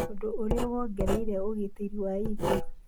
ũndũ ũrĩa wongereire ũgitĩri wa irio.